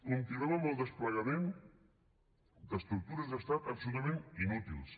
continuem amb el desplegament d’estructures d’estat absolutament inútils